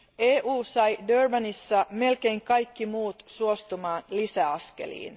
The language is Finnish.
EU sai Durbanissa melkein kaikki muut suostumaan lisäaskeliin.